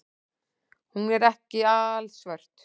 Hún er ekki alsvört.